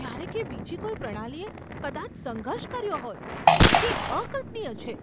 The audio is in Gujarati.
જ્યારે કે બીજી કોઈ પ્રણાલીએ કદાચ સંઘર્ષ કર્યો હોત. તે અકલ્પનીય છે!